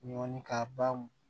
Ɲɔni ka ba